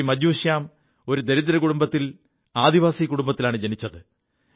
മജ്ജൂ ശ്യാം ഒരു ദരിദ്ര കുടുംബത്തിൽ ആദിവാസി കുടുംബത്തിലാണ് ജനിച്ചത്